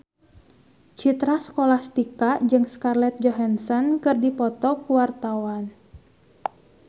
Citra Scholastika jeung Scarlett Johansson keur dipoto ku wartawan